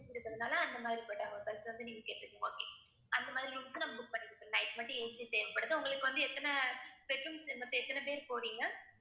அந்த மாதிரி room க்கு நான் book பண்ணி கொடுத்துடறேன் night மட்டும் AC தேவைப்படுது உங்களுக்கு வந்து எத்தனை bed rooms மொத்தம் எத்தனை பேர் போறீங்க?